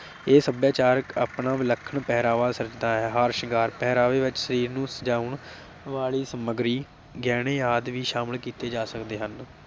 ਇਹ ਸਭਿਆਚਾਰਕ ਆਪਣਾ ਵਿਲੱਖਣ ਪਹਿਰਾਵਾ ਸਿਰਜਦਾ ਹੈ। ਹਾਰ ਸ਼ਿੰਗਾਰ ਪਹਿਰਾਵੇ ਵਿਚ ਸਰੀਰ ਨੂੰ ਸਜਾਉਣ ਵਾਲੀ ਸਮੱਗਰੀ ਗਹਿਣੇ ਆਦਿ ਵੀ ਸ਼ਾਮਲ ਕੀਤੇ ਜਾ ਸਕਦੇ ਹਨ।